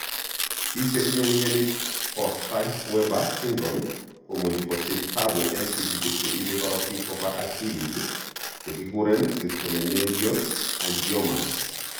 Pik chetinye mioni po Sturge Weber syndrome komuche kosich tapu en tigitik che ipe korotik kopa akililit che kiguren leptomeningeal angiomas.